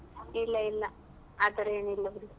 ಇಲ್ಲ ಇಲ್ಲ ಆತರ ಏನ್ ಇಲ್ಲ ಬಿಡು.